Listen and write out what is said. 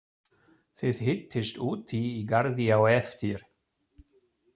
Þið hittist úti í garði á eftir.